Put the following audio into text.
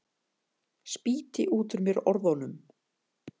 Spýti út úr mér orðunum.